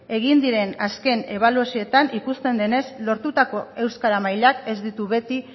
egin diren azken ebaluazioetan ikusten denez lortutako euskara mailak ez ditu beti